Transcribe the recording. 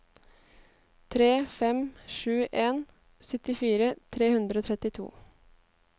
tre fem sju en syttifire tre hundre og trettito